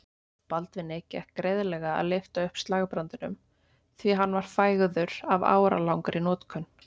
Baldvini gekk greiðlega að lyfta upp slagbrandinum því hann var fægður af áralangri notkun.